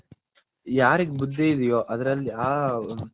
ಯಾರಿಗ ಬುದ್ದಿ ಇದ್ಯೋ ಅದರಲ್ಲಿ